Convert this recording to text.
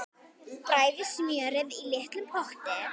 Bræðið smjörið í litlum potti.